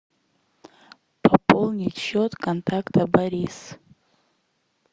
пополнить счет контакта борис